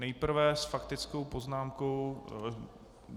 Nejprve s faktickou poznámkou...